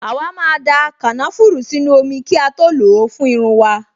Àwa máa da kànáfùrù sínú omi kí a tó lò ó fún irun wa